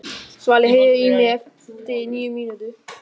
Svali, heyrðu í mér eftir níu mínútur.